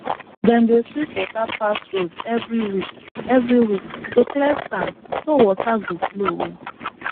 dem dey sweep water pass road every week every week to clear sand so water go flow well